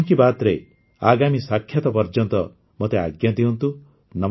ମନ୍ କି ବାତ୍ରେ ଆଗାମୀ ସାକ୍ଷାତ ପର୍ଯ୍ୟନ୍ତ ମୋତେ ଆଜ୍ଞା ଦିଅନ୍ତୁ